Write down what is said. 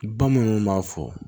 Bamananw b'a fɔ